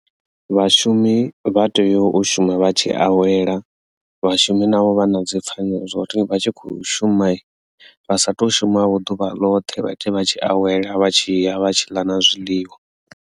Vhashumi vha tea u shuma vha tshi awela vhashumi navho vha na dzi pfhanelo zwo tea uri vha tshi khou shuma vha satu shuma vho ḓuvha ḽoṱhe vha ite vha tshi awela vha tshi ya vha tshi ḽa na zwiḽiwa.